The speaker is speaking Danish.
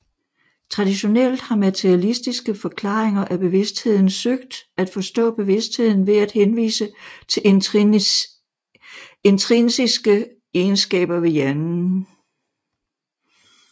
Traditionelt har materialistiske forklaringer af bevidstheden søgt at forstå bevidstheden ved at henvise til intrinsiske egenskaber ved hjernen